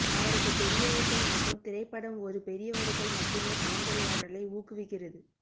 அவரது பெரியவர்கள் மட்டும் திரைப்படம் ஒரு பெரியவர்கள் மட்டுமே கலந்துரையாடலை ஊக்குவிக்கிறது